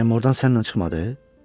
Bəyəm ordan sənlə çıxmadı?